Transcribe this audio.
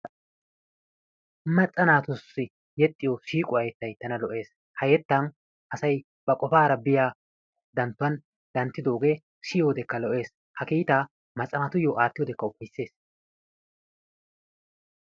Macca naatussi yexxiyo siiqquwa yettay tana lo'ees. Ha yettaan asay ba qofaara biya danttuwan danttidoogee siyiyodekka lo"ees ha kiitaa macca naatuyyo attiyodekka ufayssees.